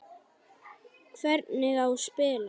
Hvernig á spila?